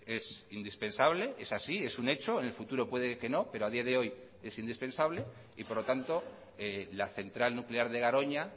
es indispensable es así es un hecho en el futuro puede que no pero a día de hoy es indispensable y por lo tanto la central nuclear de garoña